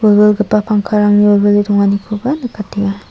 wilwilgipa pangkarangni wilwile donganikoba nikenga.